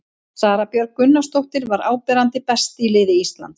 Sara Björg Gunnarsdóttir var áberandi best í liði Íslands.